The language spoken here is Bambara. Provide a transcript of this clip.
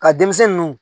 Ka denmisɛnnu